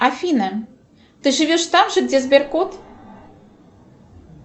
афина ты живешь там же где сберкот